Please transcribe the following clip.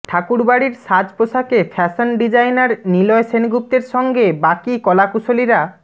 ঠাকুরবাড়ির সাজ পোশাকে fashion designer Niloy সেনগুপ্তের সঙ্গে বাকি কলাকুশলীরা